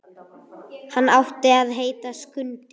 Hann átti að heita Skundi.